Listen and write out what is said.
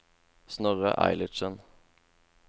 Snorre Eilertsen